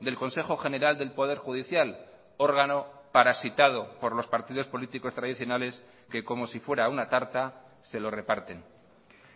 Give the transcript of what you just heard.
del consejo general del poder judicial órgano parasitado por los partidos políticos tradicionales que como si fuera una tarta se lo reparten